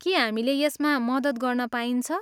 के हामीले यसमा मद्दत गर्न पाइन्छ?